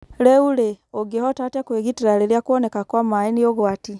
Rĩu-rĩ, ũngĩhota atĩa kwĩgitera rĩrĩa kuoneka kwa maaĩ nĩ ugwati?